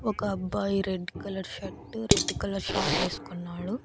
ఒకబ్బాయి red colour shirt red colour short ఎస్కున్నాడు.